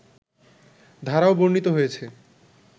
ধারাও বর্ণিত হয়েছে